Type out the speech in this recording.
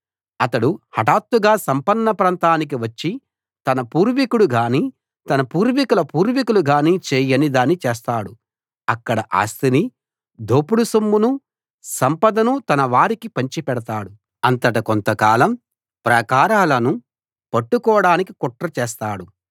అతడు హటాత్తుగా సంపన్న ప్రాంతానికి వచ్చి తన పూర్వీకుడుగానీ తన పూర్వీకుల పూర్వీకులు గాని చేయని దాన్ని చేస్తాడు అక్కడ ఆస్తిని దోపుడు సొమ్మును సంపదను తన వారికి పంచిపెడతాడు అంతట కొంతకాలం ప్రాకారాలను పట్టుకోడానికి కుట్ర చేస్తాడు